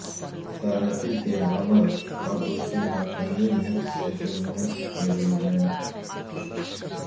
ثالثی کے عمل اور اس کی ناکامی میں سیٹلمنٹ ایگریمنٹ